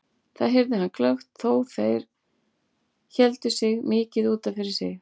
Það heyrði hann glöggt þó þeir héldu sig mikið út af fyrir sig.